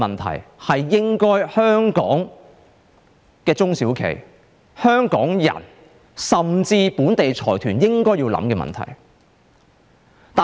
這是香港的中小型企業、香港人，甚至本地的財團應該思考的問題。